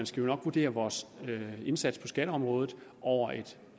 skal vurdere vores indsats på skatteområdet over et